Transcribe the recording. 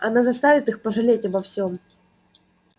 она заставит их пожалеть обо всём